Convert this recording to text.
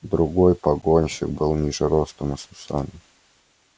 другой погонщик был ниже ростом и с усами